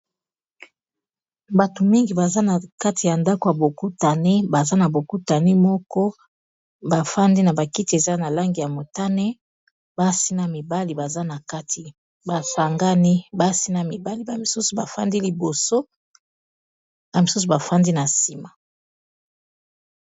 bato mingi baza na kati ya ndako ya bokutani baza na bokutani moko bafandi na bakiti eza na langi ya motane basi na mibali baza na kati basangani basi na mibali bamisusu bafandi liboso bamisusu bafandi na nsima